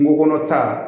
Kungo kɔnɔ ta